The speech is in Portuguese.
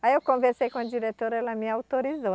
Aí eu conversei com a diretora ela me autorizou.